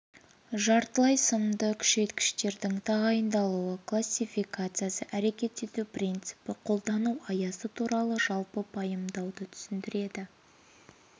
жартылай сымды күшейткіштердің тағайындалуы классификациясы әрекет ету принципі қолдану аясы туралы жалпы пайымдауды түсіндіреді